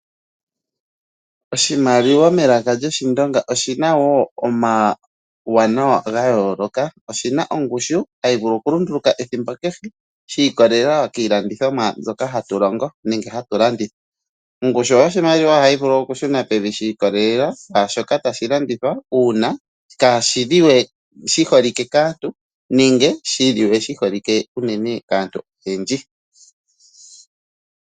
Oshimaliwa melaka lyIshindonga oshina wo omauwanawa gayooloka. Oshi na ongushu hayi vulu okulunduluka ethimbo kehe, shi ikololela kiilandithomwa mbyoka hatu longo nenge hatu landitha. Ongushu yoshimaliwa ohayi vulu okushuna pevi shi ikololela kwaashoka tashi landithwa, uuna kashi holike we kaantu, nenge shi holike unene kaantu oyendji.